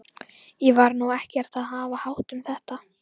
Ég var nú ekkert að hafa hátt um þetta.